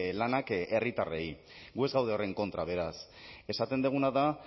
lanak herritarrei gu ez gaude horren kontra beraz esaten duguna da